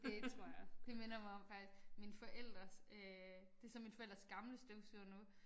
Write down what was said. Det tror jeg. Det minder mig om faktisk mine forældres øh det så mine forældres gamle støvsuger nu